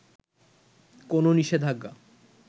কোন নিষেধাজ্ঞা